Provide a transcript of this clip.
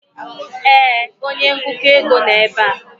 ee, onye ngụkọ ego nọ ebe a.